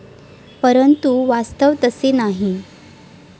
परंतु वास्तव तसे नाही.